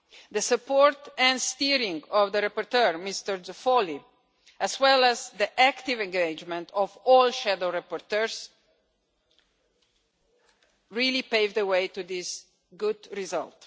The support and steering of the rapporteur, Mr Zoffoli, as well as the active engagement of all shadow rapporteurs really paved the way to this good result.